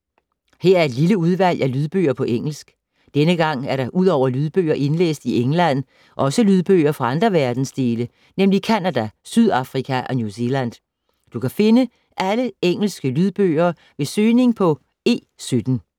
Her er et lille udvalg af lydbøger på engelsk. Denne gang er der udover lydbøger indlæst i England, også lydbøger fra andre verdensdele, nemlig Canada, Sydafrika og New Zealand. Du kan finde alle engelske lydbøger ved søgning på E17.